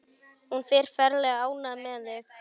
Hún er ferlega ánægð með þig.